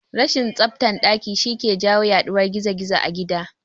Rashin tsaftan daki shi yake jawo yaduwar gizo-gizo a gida